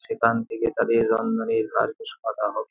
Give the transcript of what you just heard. সেখান থেকে তাদের রন্ধনের পাতা হবে।